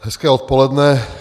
Hezké odpoledne.